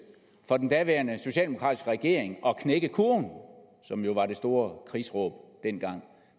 for den daværende socialdemokratiske regering nemlig at knække kurven som jo var det store krigsråb dengang